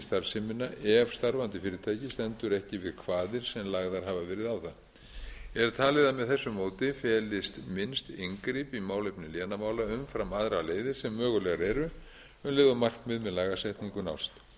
starfsemina ef starfandi fyrirtæki stendur ekki við kvaðir sem lagðar hafa verið á það er talið að með þessu móti felist minnst inngrip í málefni lénamála umfram aðrar leiðir sem mögulegar eru mun meginmarkmið með lagasetningu nást jafnframt